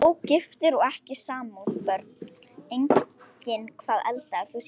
Ógiftur og ekki í sambúð Börn: Engin Hvað eldaðir þú síðast?